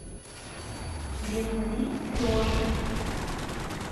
лена ли приоши